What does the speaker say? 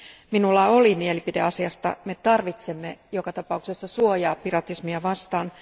Minulla oli mielipide asiasta, me tarvitsemme joka tapauksessa suojaa piratismia vastaan.